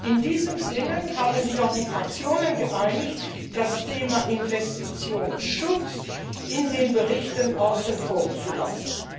In diesem Sinne haben sich auch die Fraktionen geeinigt, das Thema Investitionsschutz in den Berichten außen vor zu lassen.